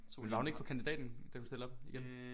Men var hun ikke på kandidaten da hun stillede op igen